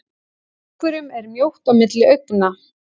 Einhverjum er mjótt á milli augna